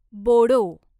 Bodo